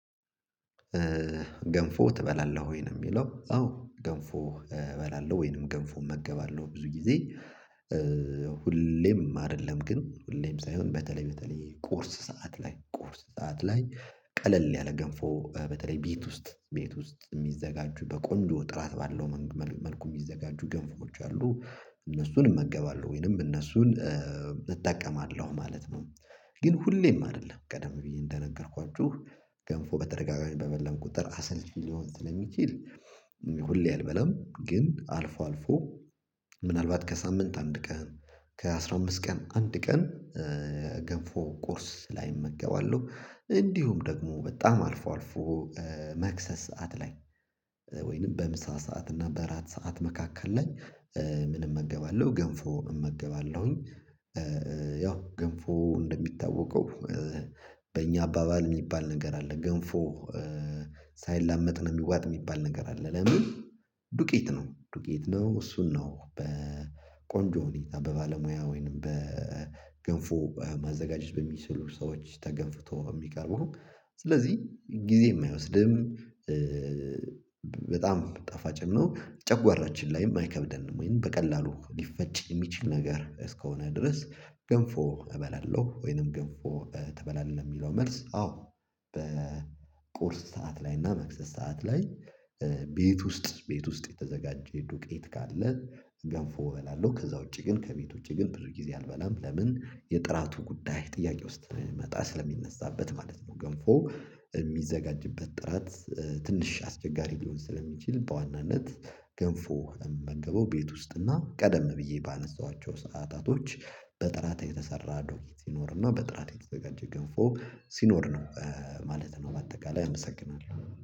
"ገንፎ ትበላለህ ወይ?" ነው የሚለው። አዎ፤ ገንፎ እበላለሁ ወይንም ገንፎ እመገባለሁ ብዙ ጊዜ። ሁሌም አይደለም ግን ሁሌም ሳይሆን በተለይ በተለይ ቁርስ ሰዓት ላይ ቁርስ ሰዓት ላይ ቀለል ያለ ገንፎ በተለይ ቤት ውስጥ ቤት ውስጥ የሚዘጋጁ በቆንጆ ጥራት ባለው መልኩ የሚዘጋጁ ገንፎዎች አሉ፤ እነሱን እመገባለሁ ወይንም እነሱን እጠቀማለሁ ማለት ነው። ግን ሁሌም አይደለም ቀደም ብዬ እንደነገርኳችሁ ገንፎ በተደጋጋሚ በበላን ቁጥር አሰልቺ ሊሆን ስለሚችል ሁሌ አልበላም፤ ግን አልፎ አልፎ ምናልባት ከሳምንት አንድ ቀን ከ አስራ አምስት ቀን አንድ ቀን ገንፎ ቁርስ ላይ እመገባለሁ። እንዲሁም ደግሞ በጣም አልፎ አልፎ መክሰስ ሰዓት ላይ ወይንም በምሳ ሰዓት እና በአራት ሰዓት መካከል ላይ ምን እመገባለሁ? ገንፎ እመገባለሁኝ። ያው ገንፎ እንደሚታወቀው በእኛ አባባል የሚባል ነገር አለ ገንፎ ሳይላመጥ ነው የሚዋጥ የሚባል ነገር አለ። ለምን ዱቄት ነው ዱቄት ነው እሱን ነው በቆንጆ ሁኔታ በባለሙያ ወይንም በገንፎ ማዘጋጀት በሚችሉ ሰዎች ተገንፍቶ የሚቀርበው። ስለዚህ ጊዜም አይወስድም በጣም ጣፋጭም ነው። ጨጓራችን ላይ አይከብደንም ወይም በቀላሉ ሊፈጭ የሚችል ነገር እስከሆነ ድረስ ገንፎ እበላለሁ ወይንም ገንፎ ትበላለህ ለሚለው መልስ አዎ በቁርስ ሰዓት ላይ እና መክሰስ ሰዓት ላይ ቤት ውስጥ ቤት ውስጥ የተዘጋጀ ዱቄት ካለ ገንፎ እበላለሁ፤ ከዛ ውጪ ግን ከቤት ውጪ ግን ብዙ ጊዜ አልበላም፤ ለምን የጥራቱ ጉዳይ ጥያቄ ውስጥ የሚመጣ ስለሚነሳበት ማለት ነው ገንፎ የሚዘጋጅበት ጥራት ትንሽ አስቸጋሪ ሊሆን ስለሚችል በዋናነት ገንፎ የምመገበው ቤት ውስጥ እና ቀደም ብዬ ባነሳኋቸው ሰዓታቶች በጥራት የተሰራ ዶክት ሲኖርና በጥራት የተዘጋጀ ገንፎ ሲኖር ነው። ማለት ነው በአጠቃላይ እመሰግናለሁ።